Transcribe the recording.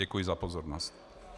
Děkuji za pozornost.